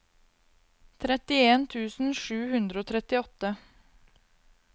trettien tusen sju hundre og trettiåtte